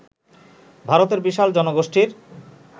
ভারতের বিশাল জনগোষ্ঠীর